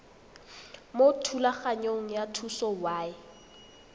mo thulaganyong ya thuso y